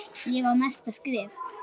Ég á næsta skref.